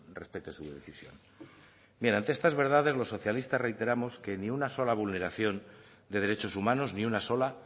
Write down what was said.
respete su decisión bien ante estas verdades los socialistas reiteramos que ni una sola vulneración de derechos humanos ni una sola